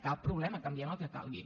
cap problema canviem el que calgui